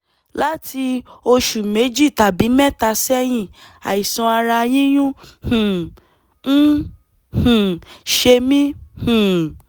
láti oṣù méjì tàbí mẹ́ta sẹ́yìn àìsàn ara yíyún um ń um ṣe mí um